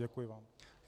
Děkuji vám.